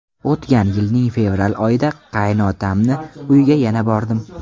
O‘tgan yilning fevral oyida qaynotamni uyiga yana bordim.